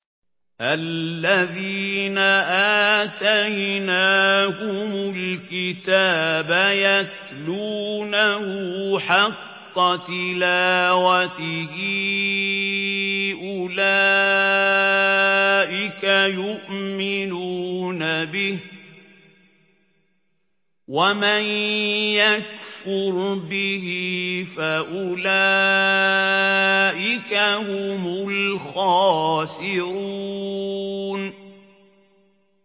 الَّذِينَ آتَيْنَاهُمُ الْكِتَابَ يَتْلُونَهُ حَقَّ تِلَاوَتِهِ أُولَٰئِكَ يُؤْمِنُونَ بِهِ ۗ وَمَن يَكْفُرْ بِهِ فَأُولَٰئِكَ هُمُ الْخَاسِرُونَ